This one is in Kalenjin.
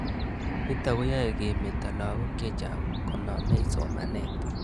Nitok ko koiyai kemeto lakok chechang' konamei somanet